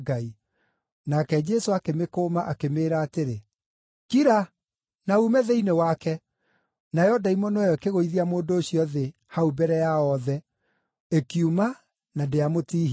Nake Jesũ akĩmĩkũma, akĩmĩĩra atĩrĩ, “Kira, na uume thĩinĩ wake!” Nayo ndaimono ĩyo ĩkĩgũithia mũndũ ũcio thĩ hau mbere yao othe, ĩkiuma na ndĩamũtihirie.